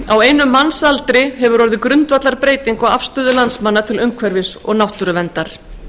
á einum mannsaldri hefur orðið grundvallarbreyting á afstöðu landsmanna til umhverfis og náttúruverndar